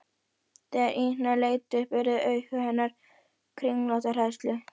Þegar Ína leit upp urðu augu hennar kringlótt af hræðslu.